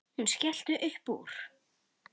Hún skellti upp úr.